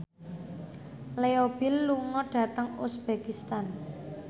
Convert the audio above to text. Leo Bill lunga dhateng uzbekistan